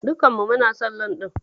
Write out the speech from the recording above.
Dukan mu muna son loan ɗin.